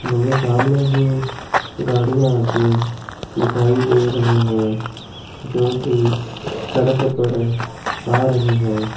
मुझे सामने ही गाड़ियां आती दिखाई दे रही हैं जोकि सड़क पर आ रही हैं।